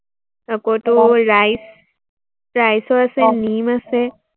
আকৌ তোৰ rice rice ৰ আছে, নিম আছে।